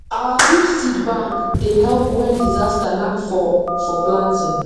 our group seed bank dey help when disaster knack for for planting